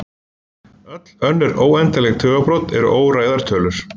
Öll önnur óendanleg tugabrot eru óræðar tölur.